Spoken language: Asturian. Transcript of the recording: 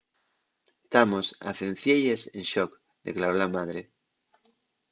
tamos a cencielles en shock” declaró la madre